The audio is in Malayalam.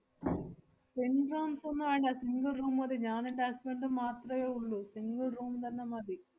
twin rooms ഒന്നു വേണ്ട, single room മതി. ഞാനെന്‍റെ husband ഉം മാത്രേ ഉള്ളൂ. single room തന്നെ മതി.